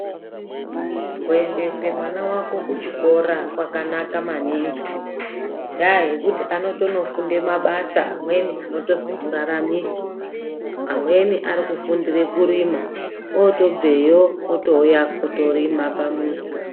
Kuendese mwana vako kuchikora kwakanaka maningi ngendaa yekuti anotonofunde mabasa amweni anotozo muraramisa. Amweni arikufundire kurima otobveyo otouya otorima pamuzi.